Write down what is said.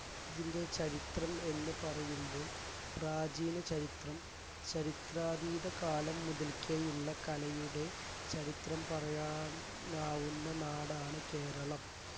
ഇതിൻറെ ചരിത്രം എന്നുപറയുമ്പോൾ പ്രാചീന ചരിത്രം ചരിത്രാതീത കാലം മുതൽക്കേയുള്ള കലയുടെ ചരിത്രം പറയാനാവുന്ന നാടാണ് കേരളം